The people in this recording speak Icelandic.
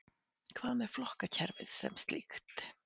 Hvað með flokkakerfið sem slíkt